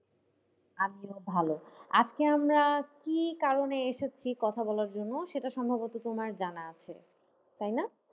আমিও ভালো, আজকে আমরা কি কারণে এসেছি কথা বলার জন্য সেটা সম্ভবত তোমার জানা আছে তাই না?